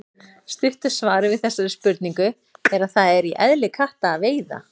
Stutta svarið við þessari spurningu er að það er í eðli katta að veiða.